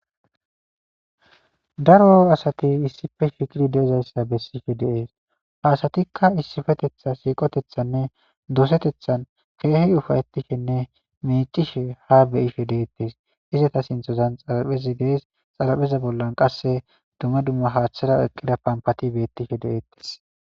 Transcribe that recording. daro asati issife shiqidi deezayssa bessife deees ha asatikka issifetetha siiqotethanne dosetethan keehi ufayetishenne meicishe ha beyife deettes izata sinthozan xalapheza dees xalapheza bollan qasse duma dumma haaththara eqqida pampati beettishe de7eettes